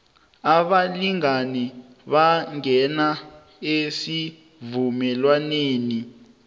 abalingani bangena esivumelwaneni